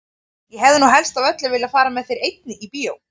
Ég hefði nú helst af öllu viljað fara með þér einni í bíó!